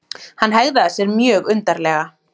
Hann hegðaði sér mjög undarlega.